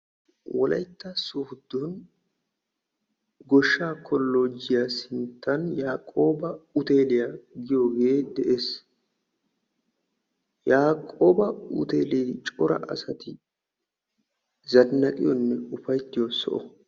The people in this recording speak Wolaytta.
Wolaytta sooddo goshshaa kolloojjiya sinttan yaaqooba huteeliya giyogee de'es. Yaaqooba huteelee cora asati zannaqiyonne ufayttiyo soho.